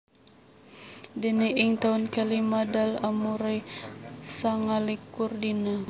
Déné ing taun kalima Dal umuré sangalikur dina